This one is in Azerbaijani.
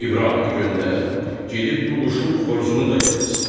İbrahimi göndər, gedib bu quşun xoruzunu da gətirsin.